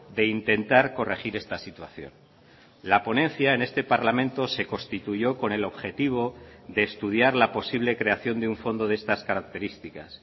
de intentar corregir esta situación la ponencia en este parlamento se constituyó con el objetivo de estudiar la posible creación de un fondo de estas características